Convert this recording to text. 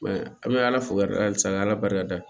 an bɛ ala fo k'ala halisa ala barika